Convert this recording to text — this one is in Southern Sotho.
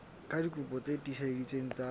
ka dikopi tse tiiseleditsweng tsa